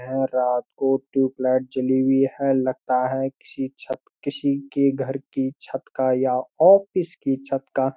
है रात को टूब लाइट जली हुई है लगता है किसी छत किसी की घर की छत का या और किसकी छत का